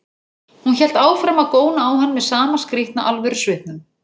Hún hélt áfram að góna á hann með sama skrýtna alvörusvipnum.